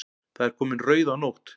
Það er komin rauðanótt.